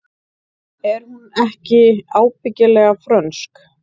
Er hún ekki ábyggilega frönsk?